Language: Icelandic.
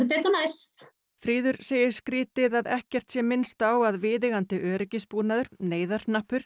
betur næst fríður segir skrýtið að ekkert sé minnst á að viðeigandi öryggisbúnaður